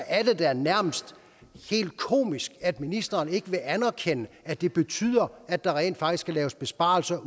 er det da nærmest helt komisk at ministeren ikke vil anerkende at det betyder at der rent faktisk skal laves besparelser